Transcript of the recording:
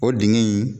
O dingɛ in